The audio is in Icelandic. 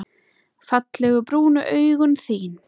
Fallegu brúnu augun þín.